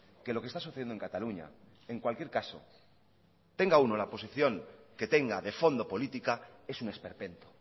que lo que está sucediendo en cataluña en cualquier caso tenga uno la posición que tenga de fondo política es un esperpento